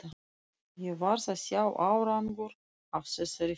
Ég varð að sjá árangur af þessari ferð.